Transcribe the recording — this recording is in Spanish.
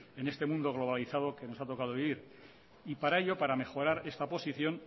en este mundo globalizado que nos ha tocado vivir para ello para mejorar esta posición